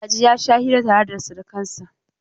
Magaji ya sha hira tare da surkansa.